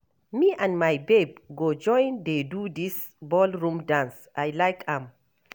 Me and my babe go join dey do dis ballroom dance, I like am.